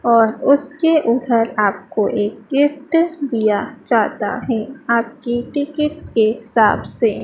और उसके उधर आपको एक गिफ्ट दिया जाता हैं आपकी टिकट्स के हिसाब से।